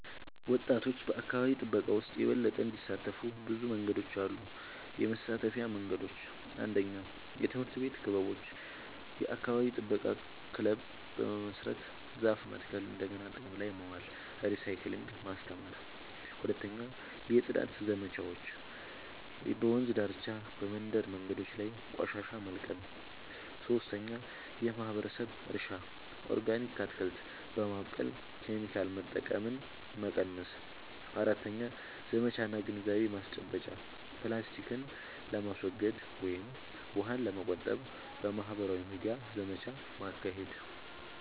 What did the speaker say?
ወጣቶች በአካባቢ ጥበቃ ውስጥ የበለጠ እንዲሳተፉ ብዙ መንገዶች አሉ -የመሳተፊያ መንገዶች፦ 1. የትምህርት ቤት ክበቦች – የአካባቢ ጥበቃ ክለብ በመመስረት ዛፍ መትከል፣ እንደገና ጥቅም ላይ ማዋል (recycling) ማስተማር። 2. የጽዳት ዘመቻዎች – በወንዝ ዳርቻ፣ በመንደር መንገዶች ላይ ቆሻሻ መልቀም። 3. የማህበረሰብ እርሻ – ኦርጋኒክ አትክልት በማብቀል ኬሚካል መጠቀምን መቀነስ። 4. ዘመቻ እና ግንዛቤ ማስጨበጫ – ፕላስቲክን ለማስወገድ ወይም ውሃን ለመቆጠብ በማህበራዊ ሚዲያ ዘመቻ ማካሄድ።